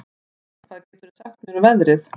Aran, hvað geturðu sagt mér um veðrið?